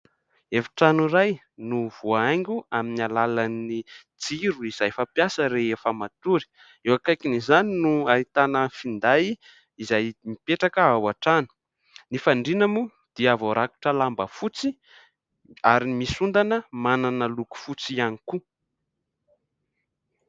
Efi-trano iray no voahaingo amin'ny alalan'ny jiro izay fampiasa rehefa matory. Eo akaikin'izany no ahitana finday izay mipetraka ao an-trano. Ny fandriana moa dia voarakotra lamba fotsy ary misy ondana manana loko fotsy ihany koa.